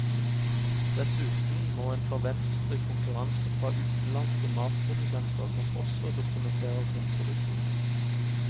Dessuten må en forvente konkurranse fra utenlandske matprodusenter som også dokumenterer sin produksjon.